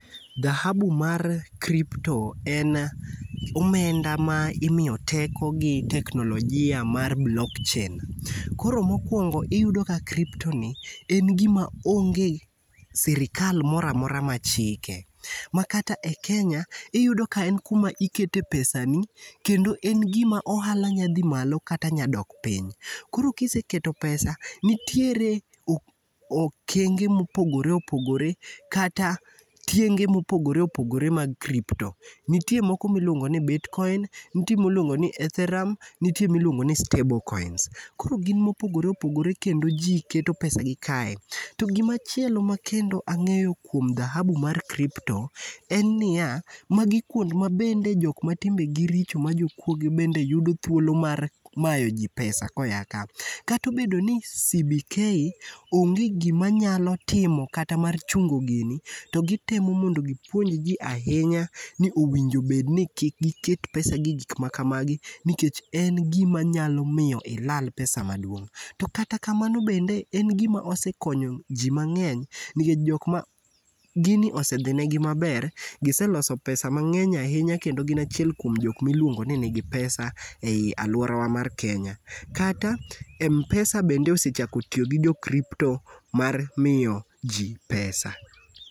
Dhahabu mar kripto en omenda ma imiyo teko gi teknolojia mar blockchain. Koro mokuongo iyudo ka kripto ni en gima onge sirikal moro amora machike. Makata e Kenya iyudo ka en kuma ikete pesani kendo en gima ohala nyalo dhi malo kata nyadok piny. Koro ka iseketo pesa nitiere okenge mopogore opogore kata tienge mopogore opogore mag kripto. Nitie moko miluongo ni bitkoin nitie miluongo ni etherium, nitie miluongo ni stable koins koro gin mopogore opogore kendo ji keto pesagi kae, to gima chielo makendo ang'eyo kuom dhahabu mar kripto en niya, magi kuond ma jok mabende matimbegi richo majokuoge mabende yudo thuolo mar mayoji pesa koa kanyo. Kata obedo ni CBK onge gima nyalo timo kata mar chungo gini to gitemo mondo gipuonj ji ahinya ni owinjo bed ni kik giket pesagi gi gik makamagi nikech en gima nyalo miyo ilal pesa maduong'. To kata kamano bende en gima osekonyo ji mang'eny nikech jok ma gini osedhinegi maber giseloso pesa mang'eny ahinya kendo gin achiel kuom jok ma ilungo ni nigi pesa ei aluorawa mar Kenya. Kata mana m-pesa bende osechako tiyo gi pesa mar kripto mar miyoji pesa.